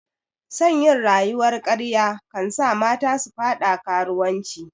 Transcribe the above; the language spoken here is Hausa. Son yin rayuwar karya kansa mata su fada karuwanci